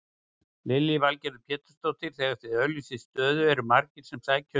Lillý Valgerður Pétursdóttir: Þegar þið auglýsið stöðu eru margir sem sækja um?